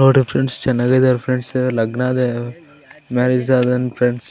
ನೋಡೊ friends ಚೆನ್ನಾಗಿದ್ದಾರ್ friends ಲಗ್ನ ಅದೆ ಅ ಮ್ಯಾರೇಜ್ ಆದಾನ್ ಫ್ರೆಂಡ್ಸ್